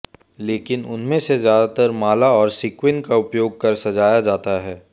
लेकिन उनमें से ज्यादातर माला और सेक्विन का उपयोग कर सजाया जाता है